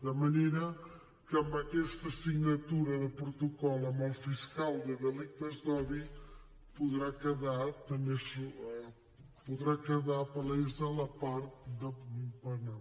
de manera que amb aquesta signatura de protocol amb el fiscal de delictes d’odi podrà quedar palesa la part penal